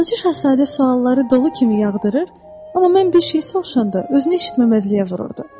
Balaca şahzadə sualları dolu kimi yağdırır, amma mən bir şey soruşanda özünü eşitməzliyə vururdu.